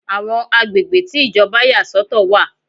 Àwọn agbègbè tí Ìjọba yà sọ̀tọ̀ wà.